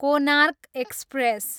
Konark express